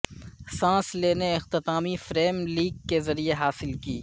سانس لینے اختتامی فریم لیک کے ذریعے حاصل کی